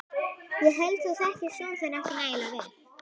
Ég held þú þekkir son þinn ekki nægilega vel.